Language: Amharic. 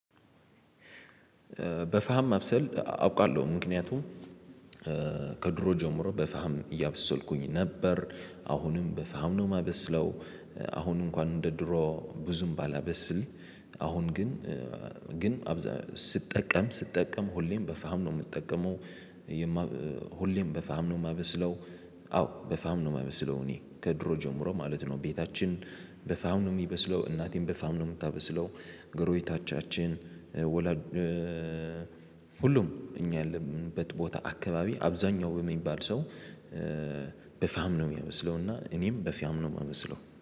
በፋም ማብሰል አውቃለሁ ምክንያቱም ከድሮ ጀምሮ በፋም እያበሰልኩኝ ነበር። አሁንም በፋም ነው ማበስለው አሁን እንኳን እንደ ድሮ ብዙም ባላበስል። አሁን ግን ግን ስጠቀም ስጠቀም ሁሌም በፋም ነው ምጠቀመው። ሁሌም በፋም ነው ማበስለው። አዎ በፋም ነው ማመስለው እኔ ከድሮ ጀምሮ ማለት ነው። ቤታችን በፋም ነው ሚበስለው እናቴን በፋም ነው ምታበስለው። ጎረቤቶቻችን ወላጅ ሁሉም እኛ ያለንበት ቦታ አካባቢ አብዛኛው የሚባል ሰው። በፋም ነው ሚያበስለው። እና እኔም በፋም ነው ማበስለው